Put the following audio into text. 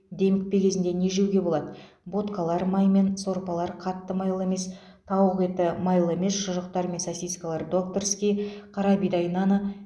демікпе кезінде не жеуге болады ботқалар маймен сорпалар қатты майлы емес тауық еті майлы емес шұжықтар мен сосискалар докторский қарабидай наны